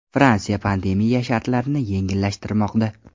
Fransiya pandemiya shartlarini yengillashtirmoqda.